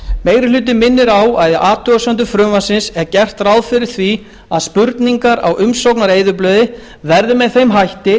meiri hlutinn minnir á að í athugasemdum frumvarpsins er gert ráð fyrir því að spurningar á umsóknareyðublaði verði með þeim hætti